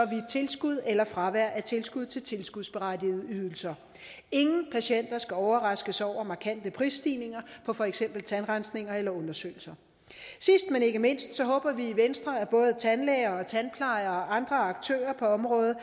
tilskud eller fravær af tilskud til tilskudsberettigede ydelser ingen patienter skal overraskes over markante prisstigninger for for eksempel tandrensning eller undersøgelse sidst men ikke mindst håber vi i venstre at både tandlæger og tandplejere og andre aktører på området